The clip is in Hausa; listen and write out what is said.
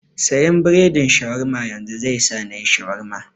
Siyan biredin Shawarma yanzun, zai sa nayi Shawarma.